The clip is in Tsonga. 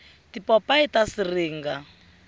tipopayi ta siringa